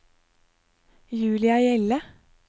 Julia Hjelle